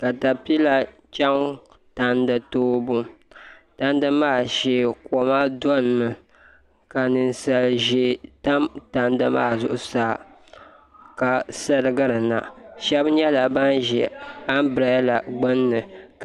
Katapila chɛŋ tandi toobu tandi maa shee koma domi ka ninsal ʒiɛ tam tandi maa zuɣusaa ka sirigiri na shab nyɛla bin ʒi anbirɛla gbunni